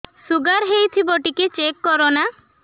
sugar ହେଇଥିବ ଟିକେ check କର ନା